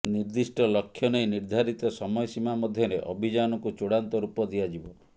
ନିର୍ଦ୍ଦିଷ୍ଟ ଲକ୍ଷ୍ୟ ନେଇ ନିର୍ଦ୍ଧାରିତ ସମୟସୀମା ମଧ୍ୟରେ ଅଭିଯାନକୁ ଚୂଡ଼ାନ୍ତ ରୂପ ଦିଆଯିବ